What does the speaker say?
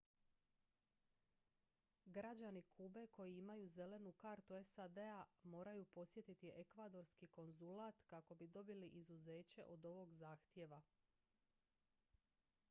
građani kube koji imaju zelenu kartu sad-a moraju posjetiti ekvadorski konzulat kako bi dobili izuzeće od ovog zahtjeva